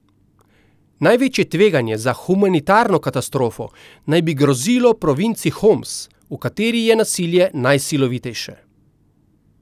Največje tveganje za humanitarno katastrofo naj bi grozilo provinci Homs, v kateri je nasilje najsilovitejše.